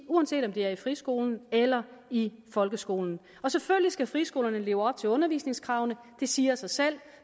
uanset om det er i friskolen eller i folkeskolen selvfølgelig skal friskolerne leve op til undervisningskravene det siger sig selv